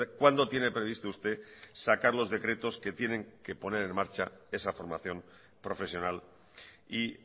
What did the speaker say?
cuándo tiene previsto usted sacar los decretos que tienen que poner en marcha esa formación profesional y